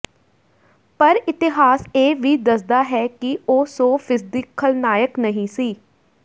ਪਰ ਇਤਿਹਾਸ ਇਹ ਵੀ ਦੱਸਦਾ ਹੈ ਕਿ ਉਹ ਸੌ ਫ਼ੀਸਦੀ ਖ਼ਲਨਾਇਕ ਨਹੀਂ ਸੀ